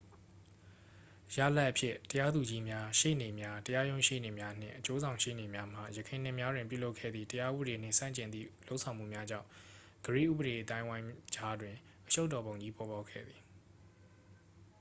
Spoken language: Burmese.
ရလဒ်အဖြစ် တရားသူကြီးများ ရှေ့နေများ တရားရုံးရှေ့နေ့များနှင့် အကျိုးဆောင်ရှေ့နေများမှ ယခင်နှစ်များတွင်ပြုလုပ်ခဲ့သည့် တရားဥပဒေနှင့်ဆန့်ကျင်သည့် လုပ်ဆောင်မှုများကြောင့် ဂရိဥပဒေအသိုင်းအဝိုင်းကြားတွင်အရှုပ်တော်ပုံကြီး ပေါ်ပေါက်ခဲ့သည်